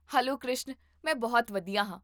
hello Krishan ਮੈਂ ਬਹੁਤ ਵਧੀਆ ਹਾਂ